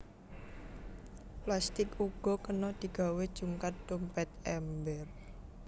Plastik uga kena digawé jungkat dompét ember